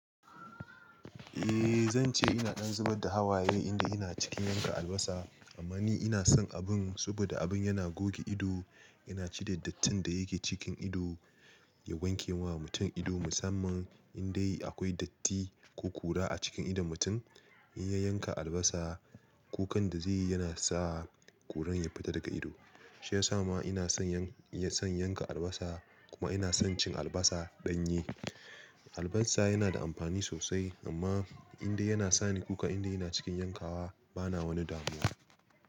Eh zan ce ina ɗan zubar da hawaye inda ina cikin yanka albasa amma ni ina son abun saboda abun yana goge ido, yana cire dattin da yake cikin ido, ya wanke wa mutum ido musamman in dai akwai datti ko kura a cikin idon mutum, in ya yanka albasa, kukan da zai yi yana sa kuran ya fita daga ido. Shi ya sa ma ina son, son yanka albasa kuma ina son cin albasa ɗanye. Albasa yana da amfani sosai amma inda yana sani kuka inda yana cikin yankawa bana wani damuwa.